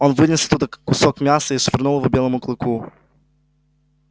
он вынес оттуда кусок мяса и швырнул его белому клыку